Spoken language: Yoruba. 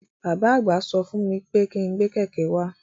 Bàbá àgbà sọ fún wí pé kí n gbé kẹ̀kẹ́ wá.